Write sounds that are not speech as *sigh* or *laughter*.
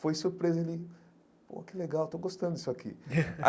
Foi surpresa, ele... Pô, que legal, estou gostando disso aqui. *laughs*